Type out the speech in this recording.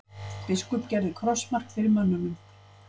Biskup gerði krossmark fyrir mönnunum.